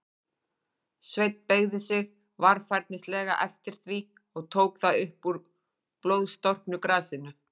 Sveinn beygði sig varfærnislega eftir því, og tók það upp úr blóðstorknu grasinu.